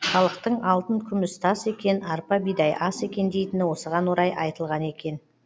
халықтың алтын күміс тас екен арпа бидай ас екен дейтіні осыған орай айтылған екен